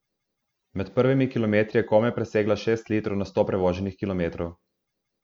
Med prvimi kilometri je komaj presegla šest litrov na sto prevoženih kilometrov.